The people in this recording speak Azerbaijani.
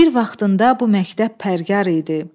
Bir vaxtında bu məktəb pəryar idi.